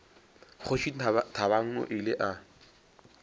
kgoši thabang o ile a